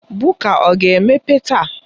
Buka ọ ga-emepe taa?